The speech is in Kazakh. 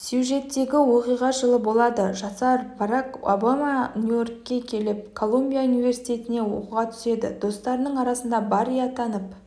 сюжеттегі оқиға жылы болады жасар барак обаманью-йоркқа келіп колумбия университетіне оқуға түседі достарының арасында барри атанып